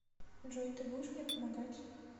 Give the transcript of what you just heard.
джой ты будешь мне помогать